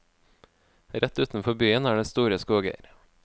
Rett utenfor byen er det store skoger.